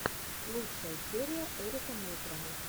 лучшая серия эрика нейтрона